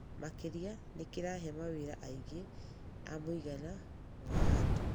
Makĩria nĩ kĩrahe mawĩra aingĩ a mũigana wa andũ.